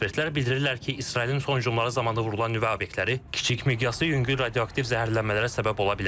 Ekspertlər bildirirlər ki, İsrailin son hücumları zamanı vurulan nüvə obyektləri kiçik miqyaslı yüngül radioaktiv zəhərlənmələrə səbəb ola bilər.